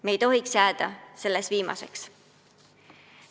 Me ei tohiks jääda selles võidujooksus viimaseks.